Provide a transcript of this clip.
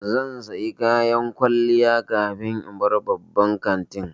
Zan saya kayan kwalliya kafin in bar babban kantin